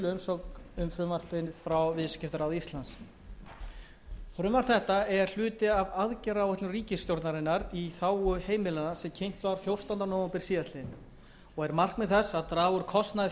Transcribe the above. frumvarpið frá viðskiptaráði íslands frumvarp þetta er hluti af aðgerðaáætlun ríkisstjórnarinnar í þágu heimilanna sem kynnt var fjórtánda nóvember síðastliðinn og er markmið þess að draga úr kostnaði